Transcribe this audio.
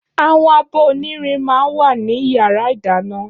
Áwòn ábò ónìrín mà n wá ni iyàrá idàná